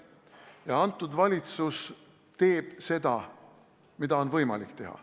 Ja praegune valitsus teeb seda, mida on võimalik teha.